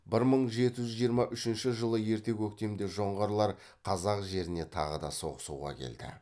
бір мың жеті жүз жиырма үшінші жылы ерте көктемде жоңғарлар қазақ жеріне тағы да соғысуға келді